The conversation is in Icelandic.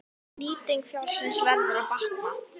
Nýting fjárins verður að batna.